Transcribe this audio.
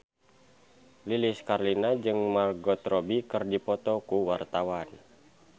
Lilis Karlina jeung Margot Robbie keur dipoto ku wartawan